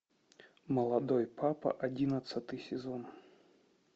молодой папа одиннадцатый сезон